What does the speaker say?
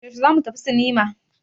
Yaushe za mu tafi sinima?